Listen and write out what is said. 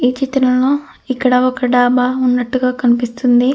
ఈ చిత్రంలో ఇక్కడ ఒక డాబా ఉన్నట్టుగా కనిపిస్తుంది.